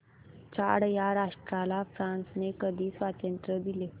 Chad या राष्ट्राला फ्रांसने कधी स्वातंत्र्य दिले